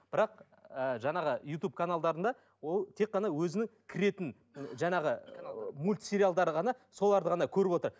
бірақ ыыы жаңағы ютуб каналдарында ол тек қана өзінің кіретін жаңағы мульт сериалдары ғана соларды ғана көріп отыр